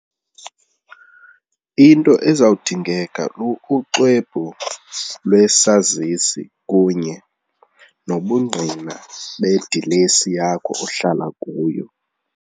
Into ezawudingeka luxwebhu lwesazisi kunye nobungqina bedilesi yakho, ohlala kuyo.